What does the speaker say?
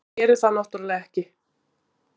En gerir það náttúrlega ekki.